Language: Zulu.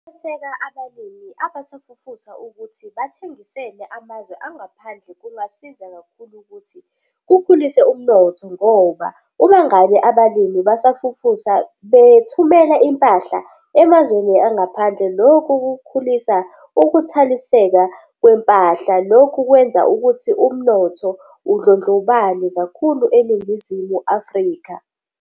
Ukweseka abalimi abasafufusa ukuthi bathengisele amazwe angaphandle kungasiza kakhulu ukuthi kukhulise umnotho ngoba uma ngabe abalimi abasafufusa bethumela impahla emazweni angaphandle, lokhu kukhulisa ukuthaliseka kwempahla. Lokhu kwenza ukuthi umnotho undlondlobale kakhulu eNingizimu Afrika.